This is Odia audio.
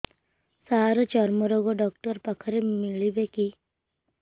ସାର ଚର୍ମରୋଗ ଡକ୍ଟର ପାଖରେ ମିଳିବେ କି